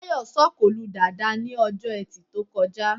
Táyọ̀ sọ̀kò lu Dàda ní Ọjọ́ Ẹtì tó kọjá